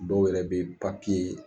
Dɔw yɛrɛ bɛ papiye